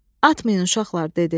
Atmayın, uşaqlar, dedi.